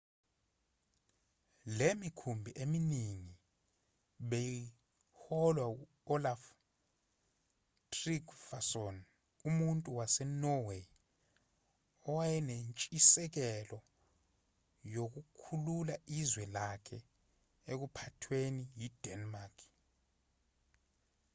le mikhumbi eminingi beyiholwa u-olaf trygvasson umuntu wasenorway owayenentshisekelo yokukhulula izwe lakhe ekuphathweni yi-denmark